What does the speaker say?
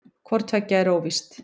Hvort tveggja er óvíst.